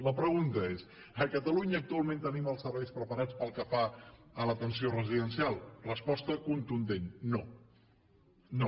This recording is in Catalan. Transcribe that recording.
la pregunta és a catalunya actualment tenim els serveis preparats pel que fa a l’atenció residencial resposta contundent no no